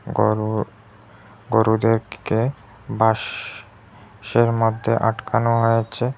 গরু গরুদেরকে বাঁশ এর মধ্যে আটকানো হয়েছে।